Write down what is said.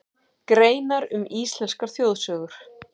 Greinar um íslenskar þjóðsögur.